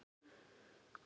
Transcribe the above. hugsaði hann.